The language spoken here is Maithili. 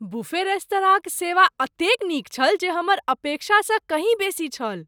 बुफे रेस्तराँक सेवा एतेक नीक छल जे हमर अपेक्षासँ कहीँ बेसी छल।